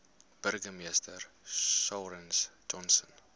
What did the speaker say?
burgemeester clarence johnson